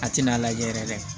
A tɛna lajɛ yɛrɛ dɛ